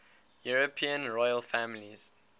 european royal families